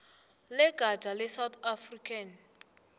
legatja lesouth african